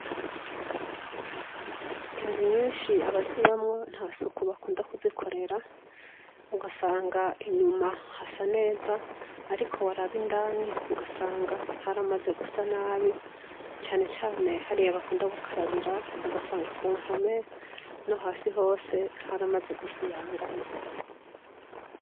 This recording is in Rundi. Inzu nyinshi abazibamwo nta suku bakunda kuzikorera ,ugasanga inyuma hasa neza ,ariko waraba indani ugasanga haramaze gusa nabi cane cane hariya bakunda gukarabira ,ugasanga kumpome nohasi hose haramaze gusibangana.